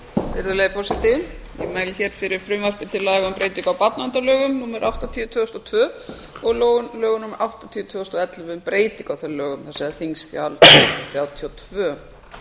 virðulegi forseti ég mæli hér fyrir frumvarpi til laga um breytingu á barnaverndarlögum númer áttatíu tvö þúsund og tvö og lögum númer áttatíu tvö þúsund og ellefu um breytingu á þeim lögum það er þingskjal þrjátíu og tvö